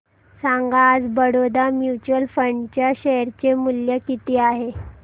सांगा आज Baroda mutual fund च्या शेअर चे मूल्य किती आहे